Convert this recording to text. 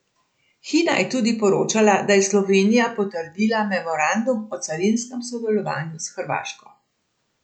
Hina je tudi poročala, da je Slovenija potrdila memorandum o carinskem sodelovanju s Hrvaško.